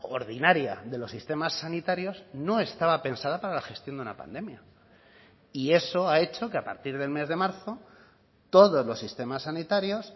ordinaria de los sistemas sanitarios no estaba pensada para la gestión de una pandemia y eso ha hecho que a partir del mes de marzo todos los sistemas sanitarios